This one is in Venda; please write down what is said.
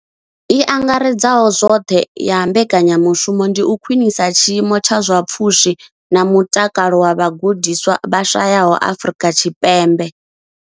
I angaredzaho zwoṱhe ya mbekanyamushumo ndi u khwinisa tshiimo tsha zwa pfushi na mutakalo zwa vhagudiswa vha shayaho Afrika Tshipembe.